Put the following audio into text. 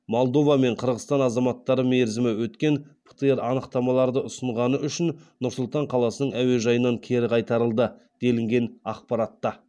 молдова мен қырғызстан азаматтары мерзімі өткен птр анықтамаларды ұсынғаны үшін нұр сұлтан қаласының әуежайынан кері қайтарылды делінген ақпаратта